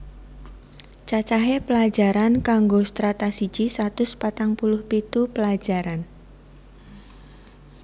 Cacahe pelajaran kanggo Strata siji satus patang puluh pitu pelajaran